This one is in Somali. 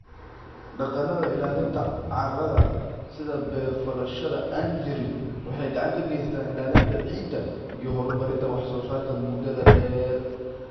Dhaqannada ilaalinta carrada sida beer-falashada aan-jirin waxay gacan ka geystaan ilaalinta ciidda iyo horumarinta wax-soo-saarka muddada-dheer.$